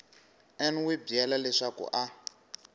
n wi byela leswaku a